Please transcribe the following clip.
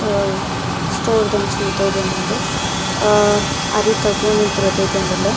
ಅಹ್ store ದಂಚಿನ ತೋಜೊಂದುಂಡು ಅಹ್ ಅರಿತ ಗೋಣಿಲ್ ಪುರ ತೋಜೊಂದುಲ್ಲ.